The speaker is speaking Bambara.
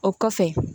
O kɔfɛ